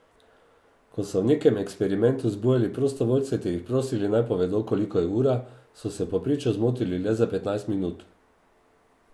Ko so v nekem eksperimentu zbujali prostovoljce ter jih prosili, naj povedo, koliko je ura, so se v povprečju zmotili le za petnajst minut.